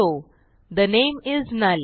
ठे नामे इस नुल